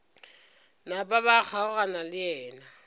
napa ba kgaogana le yena